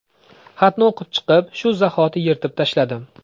Xatni o‘qib chiqib, shu zahoti yirtib tashladim.